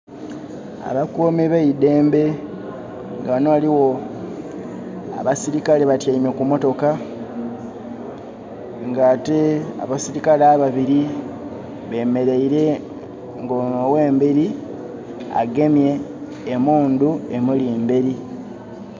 Abakuumi b' eidembe nga wano waliwo abasirikale batayiame ku motoka nga ate abasirikale ababbiri bemereire nga ono owemberi agemye emundu; emuli mberi